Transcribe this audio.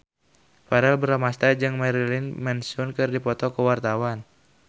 Verrell Bramastra jeung Marilyn Manson keur dipoto ku wartawan